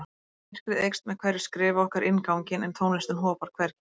Myrkrið eykst með hverju skrefi okkar inn ganginn en tónlistin hopar hvergi.